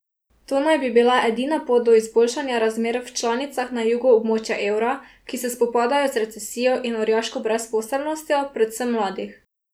To naj bi bila edina pot do izboljšanja razmer v članicah na jugu območja evra, ki se spopadajo z recesijo in orjaško brezposelnostjo, predvsem mladih.